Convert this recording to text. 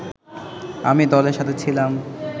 আমি দলের সাথে ছিলাম